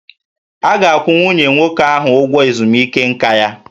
A ga-akwụ nwunye nwoke ahụ ụgwọ ezumike nka ya